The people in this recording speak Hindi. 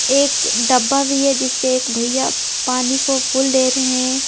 एक डब्बा भी है जिससे एक भैया पानी को फूल दे रहे हैं।